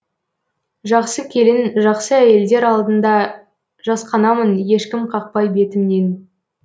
жақсы келін жақсы әйелдер алдында жасқанамын ешкім қақпай бетімнен